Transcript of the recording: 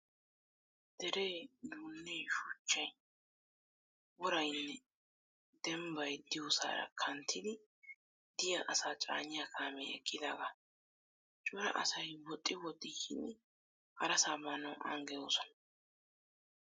Deree, duunnee, shuchchayi, worrayinne demmbbayi diyoosaaraa kanttiddi diyaa asaa caaniyaa kaamee eqqidaagaa. Cora asayi woxxi woxxi yiidi harasaa baanawu an geloosonaa.